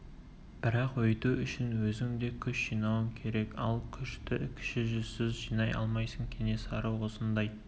бірақ өйту үшін өзің де күш жинауың керек ал күшті кіші жүзсіз жинай алмайсың кенесары осындай